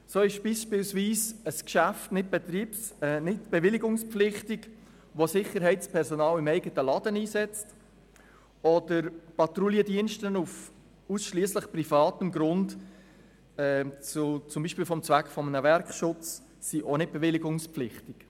So braucht beispielsweise ein Unternehmen keine Bewilligung, das Sicherheitspersonal im eigenen Ladengeschäft einstellt oder auf ausschliesslich privatem Grund zum Zweck des Werkschutzes Patrouillen einsetzt.